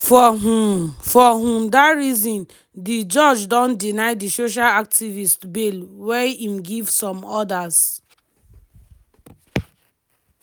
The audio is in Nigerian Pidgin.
for um for um dat reason di judge don deny di social activist bail wia im give some orders.